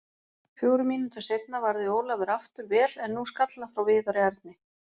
Fjórum mínútum seinna varði Ólafur aftur vel, en nú skalla frá Viðari Erni.